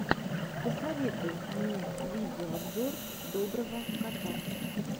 посоветуй мне видеообзор доброго кота